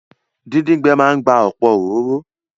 Díndín gbẹ máa n gba ọ̀pọ̀ òróró